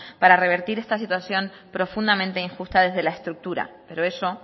para revertir esta situación profundamente injusta desde la estructura pero eso